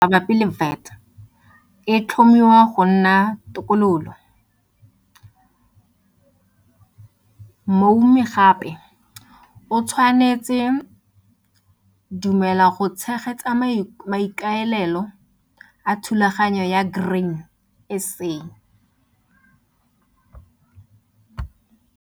Palotlase ka bokana ba R1000 mabapi le VAT e tlhomiwa go nna tokololo. Moumi gape o tshwanetse dumela go tshegetsa maikaelelo a thulaganyo ya Grain SA.